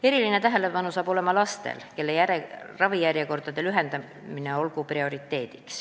Eriline tähelepanu hakkab olema lastel, kelle ravijärjekordade lühendamine olgu prioriteet.